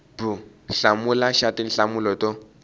b hlamula xa tinhlamulo to